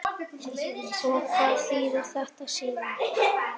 Og hvað þýðir þetta síðan?